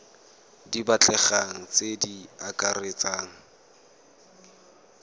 di batlegang tse di akaretsang